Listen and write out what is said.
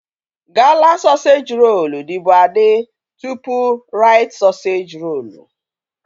Gala sọseji rolu dịbu adị tụpụ Rait sọseji rolu